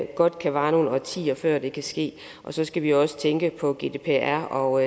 godt kan vare nogle årtier før det kan ske så skal vi også tænke på gdpr og